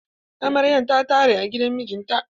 Amaryan ta tare a gidan mijinta.